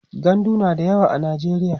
gandu na da yawa a najeriya